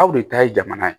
Aw de ta ye jamana ye